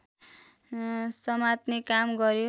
समात्ने काम गर्यो